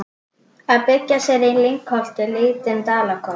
Að byggja sér í lyngholti lítinn dalakofa.